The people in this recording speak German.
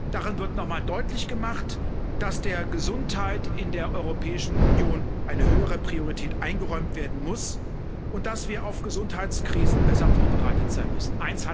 Darin wird noch einmal deutlich gemacht, dass der Gesundheit in der Europäischen Union eine höhere Priorität eingeräumt werden muss und dass wir auf Gesundheitskrisen besser vorbereitet sein müssen.